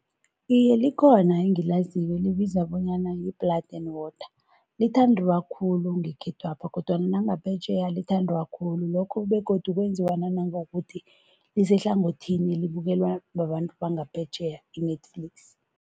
Iye, likhona engilaziko elibizwa bonyana yi-Blood and Water. Lithandiwa khulu ngekhethwapha kodwana nangaphetjheya lithandwa khulu, lokho begodu kwenziwa nanangokuthi lisehlangothini elibukelwa babantu bangaphetjheya, i-Netflix.